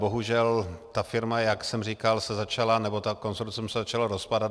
Bohužel ta firma, jak jsem říkal, se začala, nebo to konsorcium se začalo rozpadat.